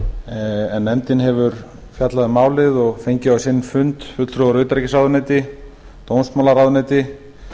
en nefndin hefur fjallað um málið og fengið á sinn fund fulltrúa frá utanríkisráðuneyti dómsmálaráðuneyti